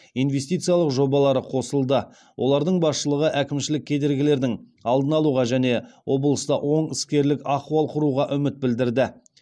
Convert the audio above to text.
инвестициялық жобалары қосылды олардың басшылығы әкімшілік кедергілердің алдын алуға және облыста оң іскерлік ахуал құруға үміт білдірді